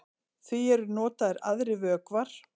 Því eru notaðir aðrir vökvar.